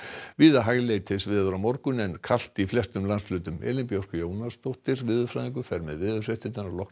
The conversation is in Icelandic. víða hæglætisveður á morgun en kalt í flestum landshlutum Elín Björk Jónasdóttir veðurfræðingur fer með veðurfregnir að loknum